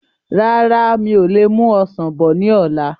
Rárá, mi ò lè mú Ọsàn bọ̀ ni ọ̀la.